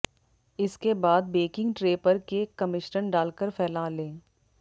इसके बाद baking tray पर केक का मिश्रण डालकर फैला लें